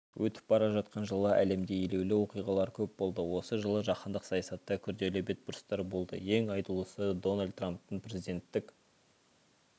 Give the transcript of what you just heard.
өтіп бара жатқан жылы әлемде елеулі оқиғалар көп болды осы жылы жаһандық саясатта күрделі бетбұрыстар болды ең айтулысы дональд трамптың президенттік